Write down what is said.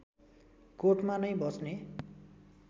कोटमा नै बस्ने